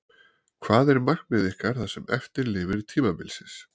Hvað er markmið ykkar það sem eftir lifir tímabilsins?